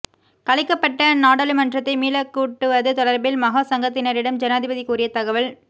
கலைக்கப்பட்ட நாடாளுமன்றத்தை மீளக்கூட்டுவது தொடர்பில் மகா சங்கத்தினரிடம் ஜனாதிபதி கூறிய தகவல்